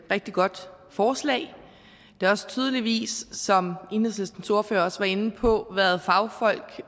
rigtig godt forslag der har tydeligvis som enhedslistens ordfører også var inde på været fagfolk